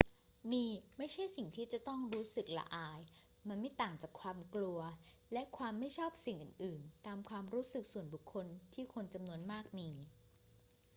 นี่ไม่ใช่สิ่งที่ต้องรู้สึกละอาย มันไม่ต่างจากความกลัวและความไม่ชอบสิ่งอื่น ๆ ตามความรู้สึกส่วนบุคคลที่คนจำนวนมากมี